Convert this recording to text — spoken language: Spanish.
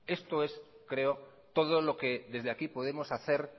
creo que esto es todo lo que desde aquí podemos hacer